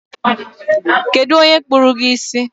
Kedu onye kpụrụ gi isi?